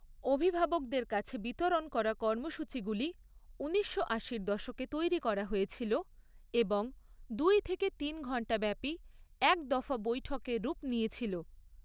অভিভাবকদের কাছে বিতরণ করা কর্মসূচিগুলি উনিশশো আশির দশকে তৈরি করা হয়েছিল এবং দুই থেকে তিন ঘন্টা ব্যাপি এক দফা বৈঠকের রূপ নিয়েছিল।